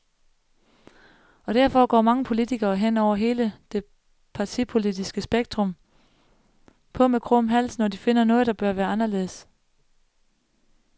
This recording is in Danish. Og derfor går mange politikere, hen over hele det partipolitiske spektrum, på med krum hals, når de finder noget, der bør være anderledes.